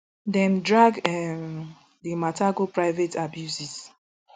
dem drag um di mata go private abuses